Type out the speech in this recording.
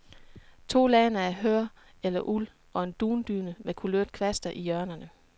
To lagner af hør eller uld og en dundyne med kulørte kvaster i hjørnerne.